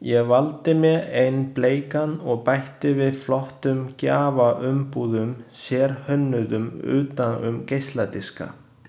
Ég valdi mér einn bleikan og bætti við flottum gjafaumbúðum, sérhönnuðum utan um geisladiska.